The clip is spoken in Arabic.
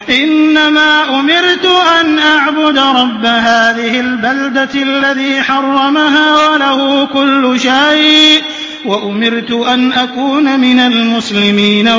إِنَّمَا أُمِرْتُ أَنْ أَعْبُدَ رَبَّ هَٰذِهِ الْبَلْدَةِ الَّذِي حَرَّمَهَا وَلَهُ كُلُّ شَيْءٍ ۖ وَأُمِرْتُ أَنْ أَكُونَ مِنَ الْمُسْلِمِينَ